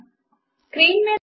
మాతో కలిసినందుకు కృతజ్ఞతలు